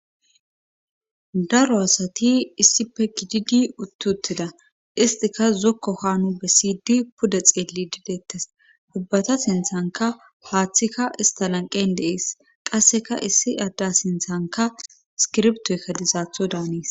daro asati issife gididi utt utida istika zokko haanu be siydi puda xeeli didettes hubbata sinthanka haaththikka istalanqen deees qasseka issi adda sinthanka iskirbtoykka dizaatho daanes